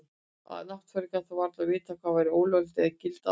Náttfari gat þó varla vitað hvað væri lögleg eða gild aðferð.